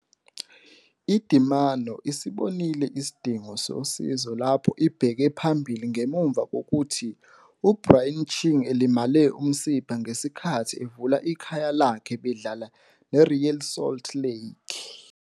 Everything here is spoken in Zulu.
IDynamo isibonile isidingo sosizo lapho ibheke phambili ngemuva kokuthi uBrian Ching elimale umsipha ngesikhathi evula ikhaya lakhe bedlala neReal Salt Lake.